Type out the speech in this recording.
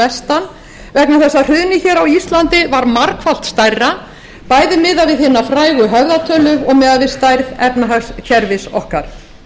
vestan vegna þess að hrunið á íslandi var margfalt stærra bæði miðað við hina frægu höfðatölu og miðað við stærð efnahagskerfis okkar